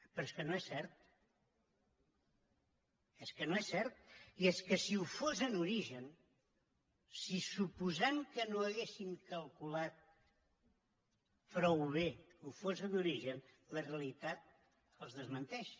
però és que no és cert és que no és cert i és que si ho fos en origen suposant que no haguessin calculat prou bé i que ho fos en origen la realitat els desmenteix